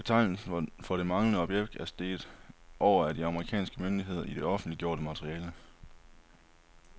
Betegnelsen for det manglende objekt er streget over af de amerikanske myndigheder i det offentliggjorte materiale.